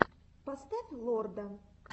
поставь лорда